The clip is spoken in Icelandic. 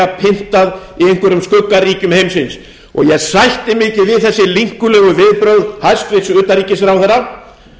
pyntað í einhverjum skuggaríkjum heimsins ég sætti mig ekki við þessi linkulegu viðbrögð hæstvirts utanríkisráðherra